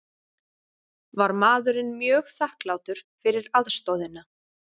Var maðurinn mjög þakklátur fyrir aðstoðina